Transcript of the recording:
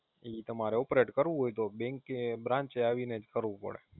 ઈ તમારે Operate કરવું હોય તો Bank Branch આવીને જ કરવું પડે